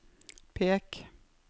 pek